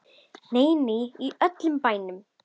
Nei, nei, í öllum bænum.